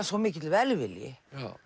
svo mikill velvilji